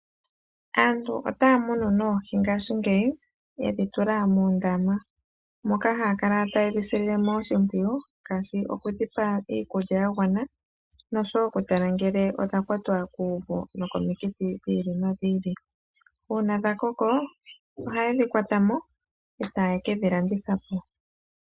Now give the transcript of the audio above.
Aantu otaya munu noohi ngaashingeyi yedhi tula muundama, moka haya kala ta yedhi silile mo oshimpwiyu ngaashi oku dhi pa iikulya ya gwana nosho wo oku tala ngele odha kwatwa kuuvu nokomikithi dhi ili nodhi ili. Uuna dha koko oha yedhi kwata mo eta ye kedhi landitha po.